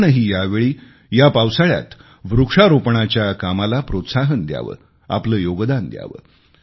आपणही या वेळी या पावसाळ्यात वृक्षारोपणाच्या या कामाला प्रोत्साहन द्यावे आपले योगदान द्यावे